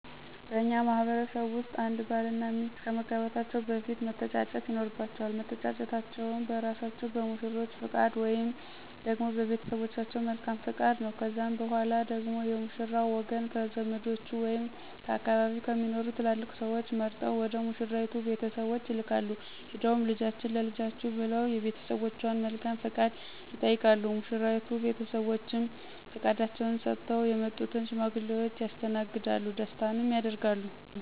በእኛ ማህበረሰብ ውስጥ አንድ ባል እና ሚስት ከመጋባታቸው በፊት መተጫጨት ይኖርባቸዋል። መተጫጨታቸውም በእራሳቸው በሙሽሮቹ ፈቃድ ወይንም ደግሞ በቤተሰቦቻቸው መልካም ፈቃድ ነው። ከዛም በኋላ ደግሞ የሙሽራው ወገን ከዘመዶቹ ወይም ከአካባቢው ከሚኖሩ ትላላቅ ስዎች መርጠው ወደ ሙሽራይቱ ቤተሰቦች ይላካሉ፤ ሄደውም ልጃችንን ለልጃችሁ ብለው የቤተሰቦቿን መልካም ፈቃድ ይጠይቃሉ። የሙሽራይቱ ቤተሰቦችም ፈቃዳቸውን ሰጥተው የመጡትን ሽማግሌዎች ያስተናግዳሉ ደስታንም ያደርጋሉ።